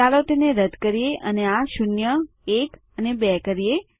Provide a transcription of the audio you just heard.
ચાલો તેને રદ કરીએ અને આ શૂન્ય એક અને બે કરીએ